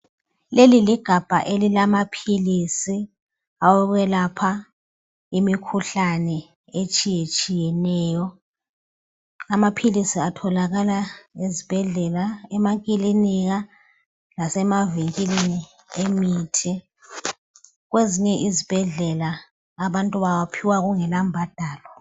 Leli ligabha elilamaphilisi awokwelapha imikhuhlane etshiyetshiyeneyo. Amaphilisi atholakala ezibhedlela, emakiliniki, lasemavinkilini, ethengisa imithi. Kwezinye izibhedleka, abantu bawaphiwa kungalambadalo.